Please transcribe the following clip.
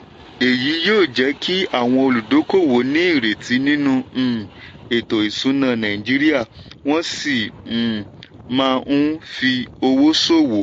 èyí yóò jẹ́ kí àwọn olúdókòwò ní ìrètí nínú um ètò ìsúná nàìjíríà wọ́n sì um má um fi owó ṣòwò.